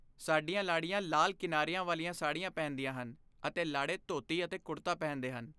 ਸਾਡੀਆਂ ਲਾੜੀਆਂ ਲਾਲ ਕਿਨਾਰਿਆਂ ਵਾਲੀ ਸਾੜੀ ਪਹਿਨਦੀਆਂ ਹਨ ਅਤੇ ਲਾੜੇ ਧੋਤੀ ਅਤੇ ਕੁੜਤਾ ਪਹਿਨਦੇ ਹਨ।